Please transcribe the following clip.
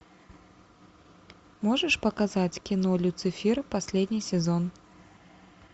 можешь показать кино люцифер последний сезон